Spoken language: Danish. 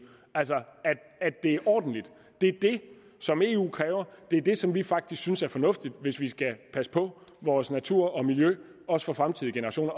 altså at det er ordentligt det er det som eu kræver og det er det som vi faktisk synes er fornuftigt hvis vi skal passe på vores natur og miljø også for fremtidige generationer